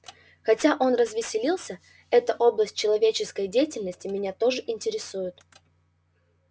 хотя он развеселился эта область человеческой деятельности меня тоже интересует